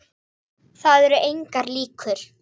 Það eru engar ýkjur.